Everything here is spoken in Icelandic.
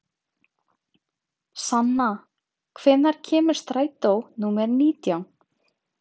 Sanna, hvenær kemur strætó númer nítján?